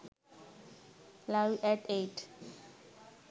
live at 8